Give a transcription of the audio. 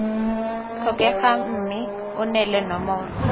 tlhokegang mme o neele nomoro